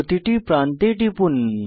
প্রতিটি প্রান্তে টিপুন